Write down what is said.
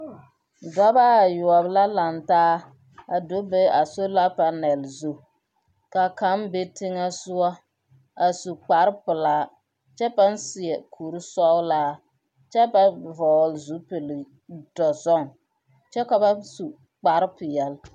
Dɔbaayoɔ la lantaa a do be a solapanɛl zu. K'a kaŋ be teŋɛsoɔ a su kparpelaa kyɛ pãã seɛ kursɔɔla kyɛ ba vɔɔle zupildɔzɔŋ. Kyɛ ka ba su kparpeɛl.